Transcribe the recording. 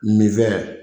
Nin fɛn